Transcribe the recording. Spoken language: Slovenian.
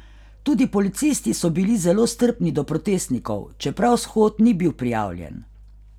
Tudi policisti so bili zelo strpni do protestnikov, čeprav shod ni bil prijavljen.